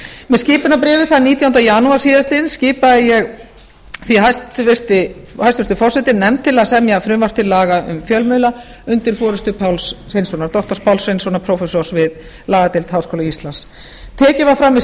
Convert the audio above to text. með skipunarbréfi þann nítjánda janúar síðastliðnum skipaði ég því hæstvirtur forseti nefnd til að semja frumvarp til laga um fjölmiðla undir forustu doktor páls hreinssonar prófessors við lagadeild háskóla íslands tekið var fram í